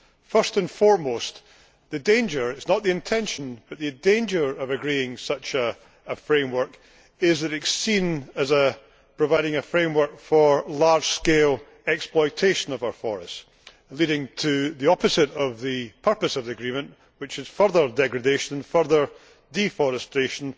First and foremost, the danger it is not the intention, but there is a danger of agreeing such a framework is that it is seen as providing a framework for large scale exploitation of our forests, leading to the opposite of the purpose of the agreement, namely, further degradation and further deforestation,